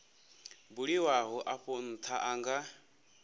buliwaho afho ntha a nga